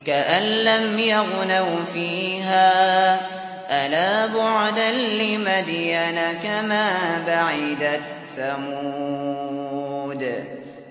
كَأَن لَّمْ يَغْنَوْا فِيهَا ۗ أَلَا بُعْدًا لِّمَدْيَنَ كَمَا بَعِدَتْ ثَمُودُ